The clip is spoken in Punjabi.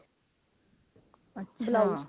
overlap